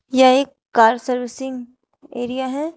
यह एक car servicing area है।